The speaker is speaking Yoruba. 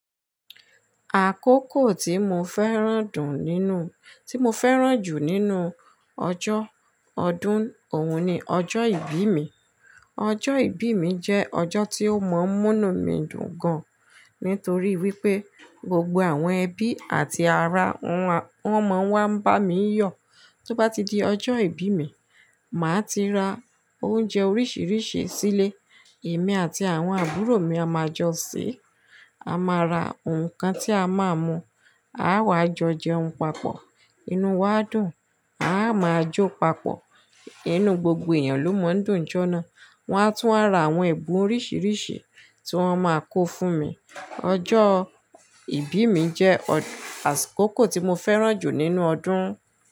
Àkókò tí mo fẹ́ràn dùn nínú-- tí mo fẹ́ràn jù nínú ọjọ́ ọdún òun ni ọjọ́ ìbí mi. Ọjọ́ ìbí mi jẹ́ ọjọ́ tí ó mọ n munu mi dùn gan, nítorí wípé gbogbo àwọn ẹbí àti ará wọn, wón mọ̀ n wá ń bá mi yọ̀. Tó bá ti di ọjọ́ ìbí mi, màá ti ra oúnjẹ oríṣiríṣi sílé. Èmi àti àwọn àbúrò mi a máa jọ se, a máa ra nǹkan tí a máa mu, a wàá jọ jẹun papọ̀, inú wa dùn, a máa jó papọ̀. Inú gbogbo èèyàn ló mọ un dùn jọ́ná. Wọ́n á tún wá ra àwọn ẹ̀bùn oríṣiríṣi tí wọ́n máa kó fún mi. Ọjọ́ ìbí mi jẹ́ àkókò tí mo fẹ́ràn jù nínú ọdún.